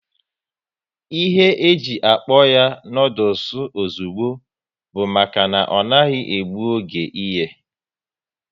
Ihe e ji akpọ ya noodules ozugbo bụ maka na ọ naghị egbu oge ịye